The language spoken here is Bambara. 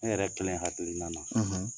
E yɛrɛ kelen hakilina na,